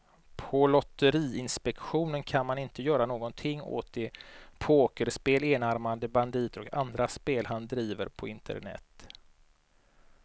På lotteriinspektionen kan man inte göra någonting åt de pokerspel, enarmade banditer och andra spel han driver på internet.